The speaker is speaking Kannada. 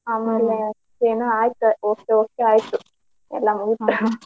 ಆಮೇಲೆ ಏನೋ ಆಯ್ತ್ ಹೋಗ್ತಾ ಹೋಗ್ತಾ ಆಯ್ತ್ ಎಲ್ಲಾ ಮುಗಿತ್.